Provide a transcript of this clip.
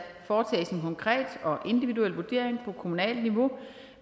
foretages en konkret og individuel vurdering på kommunalt niveau